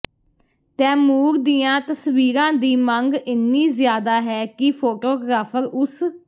ਤੈਮੂਰ ਦੀਆਂ ਤਸਵੀਰਾਂ ਦੀ ਮੰਗ ਇੰਨੀ ਜ਼ਿਆਦਾ ਹੈ ਕਿ ਫੋਟੋਗ੍ਰਾਫਰ ਉਸ